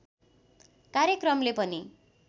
कार्यक्रमले पनि